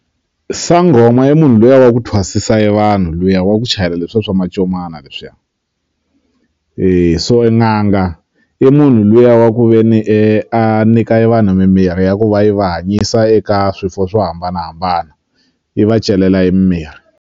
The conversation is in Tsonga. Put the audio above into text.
Sangoma i munhu luya wa ku thwasisiwa e vanhu luya wa ku chayela leswiya swa mancomana leswiya so e n'anga i munhu luya wa ku ve ni a nyika e vanhu mimirhi ya ku va yi va hanyisa eka swiwo swo hambanahambana yi va celela e mimirhi.